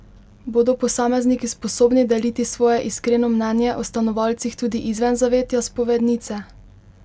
Bodo posamezniki sposobni deliti svoje iskreno mnenje o stanovalcih tudi izven zavetja spovednice?